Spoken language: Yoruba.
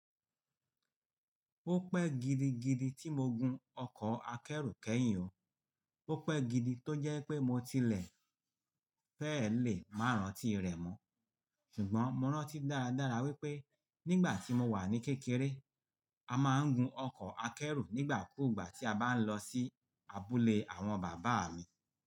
Ó pẹ́ gidigidi tí mo gun ọkọ̀ akẹ́rù kẹ́yìn o. Ó pẹ́ gidi tó jẹ́ pé mo tilẹ̀ fẹ́ lè má rán tí rẹ̀ mọ́. Ṣùgbọ́n mo rántí dáradára wípé nígbà tí mo wà ní kékeré, a máa ń gun ọkọ̀ akẹ́rù nígbà kú ìgbà tí a bá ń lọ sí abúlé àwọn bàbá mi.